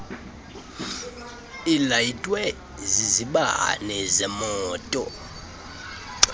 ilayitwe zizibane zemoto